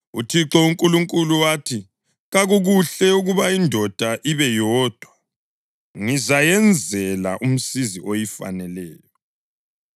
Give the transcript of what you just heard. UThixo uNkulunkulu wathi, “Kakukuhle ukuba indoda ibe yodwa. Ngizayenzela umsizi oyifaneleyo.”